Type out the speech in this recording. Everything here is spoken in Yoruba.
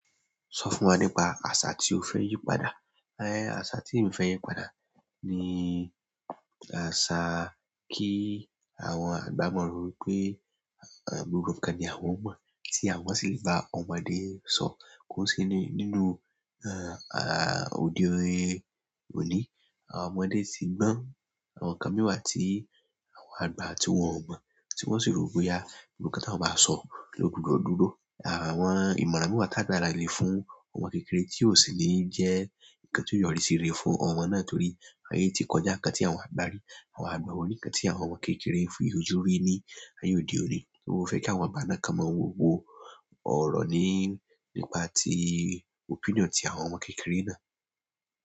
Sọ fún wa nípa àṣà tí o fẹ́ yí padà. Ẹnh, asa ti emi fẹ yípadà ni asa ki àwọn agba mọ ro wípé gbogbo nǹkan ni àwọn mọ ti àwọn si le ba ọmọdé sọ, ko n se ni nínú ode oni. Àwọn ọmọdé ti gbọn àwọn ǹnkan mìí wabtí àwọn àgbà tí wọn ò mọ̀, tí wọn sì rò bóyá gbogbo ǹnkan tí wọ́n bá sọ ló gbudọ dúró. Àwọn ìmọ̀ràn mìí tàgbalagba lé fún ọmọ kékeré tí ò sì ní jẹ́ ǹnkan tí ó yọrí síre fún ọmọ náà torí ayé tí kọjá ǹnkan tí àwọn àgbà rí, àwọn àgbà won o rí ǹnkan tí àwọn ọmọ kékeré ń fi ojú rí ní ayé òde òní. Mo fẹ́ kí àwọn àgbà náà kan mọ́ wo ọ̀rọ̀ ní nípa tí opinion tí àwọn ọmọ kékeré náà.